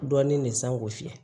Dɔɔnin le sangosi